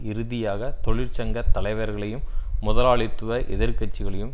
இறுதியாக தொழிற்சங்க தலைவர்களையும் முதலாளித்துவ எதிர்க்கட்சிகளையும்